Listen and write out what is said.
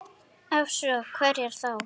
Ef svo, hverjar þá?